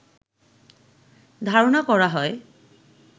ধারণা করা হয়